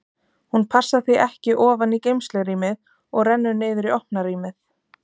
Hún passar því ekki ofan í geymslurýmið og rennur niður í opna rýmið.